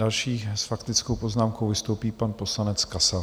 Další s faktickou poznámkou vystoupí pan poslanec Kasal.